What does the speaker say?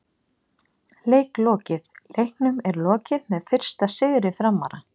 Leik lokið: Leiknum er lokið með fyrsta sigri Framara!!